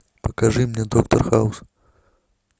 покажи мне доктор хаус